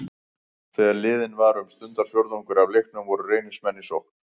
Þegar liðinn var um stundarfjórðungur af leiknum voru Reynismenn í sókn.